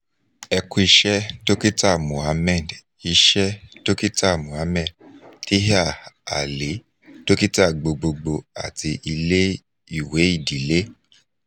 ẹ ku iṣẹ dokita mohammed iṣẹ dokita mohammed taher ali dokita gbogbogbo ati ile-iwe idile